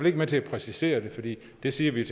ikke med til at præcisere det for det det siger vi